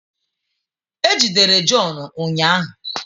E jidere John ụnyahụ